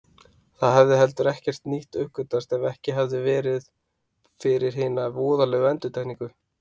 Það hefði heldur ekkert nýtt uppgötvast ef ekki hefði verið fyrir hina voðalegu endurtekningu.